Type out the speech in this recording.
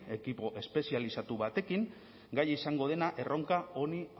ekipo espezializatu batekin gai izango dena erronka honi